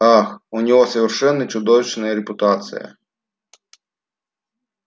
ах у него совершенно чудовищная репутация